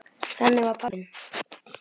Þannig var hann pabbi minn.